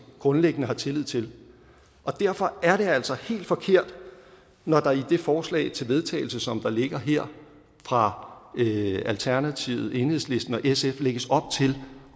grundlæggende har tillid til derfor er det altså helt forkert når der i det forslag til vedtagelse som der ligger her fra alternativet enhedslisten og sf lægges op til